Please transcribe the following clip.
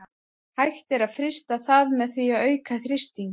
hægt er að frysta það með því að auka þrýstinginn